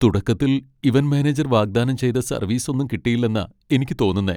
തുടക്കത്തിൽ event manager വാഗ്ദാനം ചെയ്ത സർവീസ് ഒന്നും കിട്ടിയില്ലെന്നാ എനിക്ക് തോന്നുന്നേ.